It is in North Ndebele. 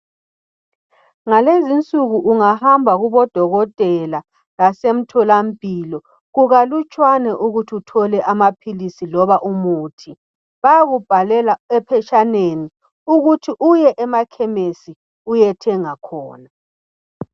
Ngalezinsuku ungahamba kubodokotela lasemtholampilo kukalutshwane ukuthi uthole amaphilisi loba umuthi bayakubhalela ephetshaneni ukuthi uye emakhemisi uyethenga khona